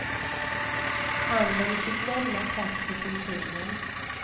Handeln fick lämna plats för kulturen.